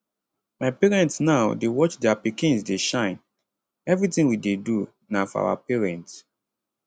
my parents now dey watch dia pikins dey shine evritin we dey do na for our parents